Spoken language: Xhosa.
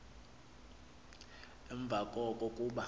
emva koko kuba